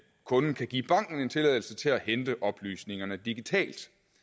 kunden kan give banken en tilladelse til at hente oplysningerne digitalt